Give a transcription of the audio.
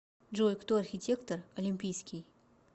джой кто архитектор олимпийский